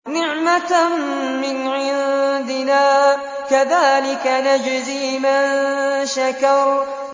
نِّعْمَةً مِّنْ عِندِنَا ۚ كَذَٰلِكَ نَجْزِي مَن شَكَرَ